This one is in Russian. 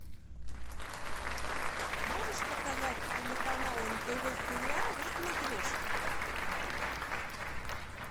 можешь показать телеканал нтв сериал на смотрешке